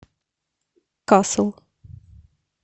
касл